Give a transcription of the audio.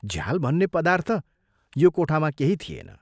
झ्याल भन्ने पदार्थ यो कोठामा केही थिएन।